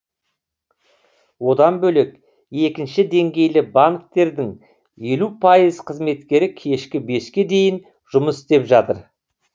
одан бөлек екінші деңгейлі банктердің елу пайыз қызметкері кешкі беске дейін жұмыс істеп жатыр